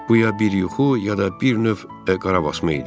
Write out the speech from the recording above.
Bu ya bir yuxu, ya da bir növ qarabasma idi.